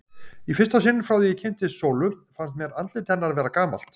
Í fyrsta sinn frá því ég kynntist Sólu fannst mér andlit hennar vera gamalt.